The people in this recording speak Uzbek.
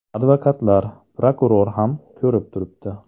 Advokatlar, prokuror ham ko‘rib turibdi.